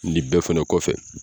Nin bɛɛ fana kɔfɛ